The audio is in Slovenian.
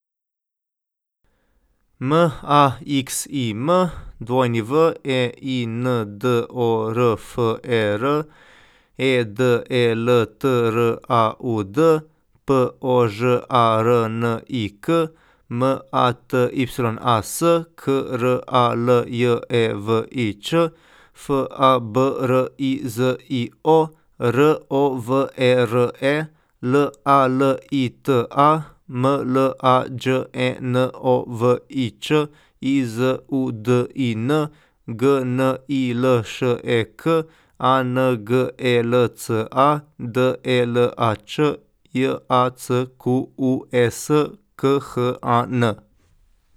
M A X I M, W E I N D O R F E R; E D E L T R A U D, P O Ž A R N I K; M A T Y A S, K R A L J E V I Ć; F A B R I Z I O, R O V E R E; L A L I T A, M L A Đ E N O V I Ć; I Z U D I N, G N I L Š E K; A N G E L C A, D E L A Č; J A C Q U E S, K H A N.